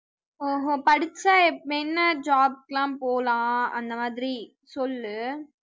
ஓஹோ படிச்சா எப்~ என்ன job க்கு எல்லாம் போலாம் அந்த மாதிரி சொல்லு